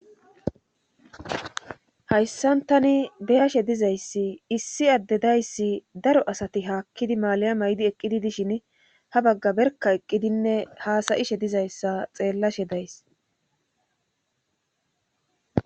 hayssan tani beyashe dizayssi issi adde dayssi daro asati haakkidi maalayamaydi eqqidi dishin ha bagga berka eqqidinne haasayishe dizayssa xeellashe days